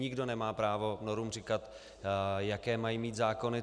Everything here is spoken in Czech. Nikdo nemá právo Norům říkat, jaké mají mít zákony.